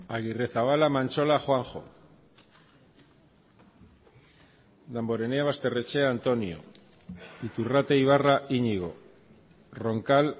agirrezabala mantxola juanjo damborenea basterrechea antonio iturrate ibarra iñigo roncal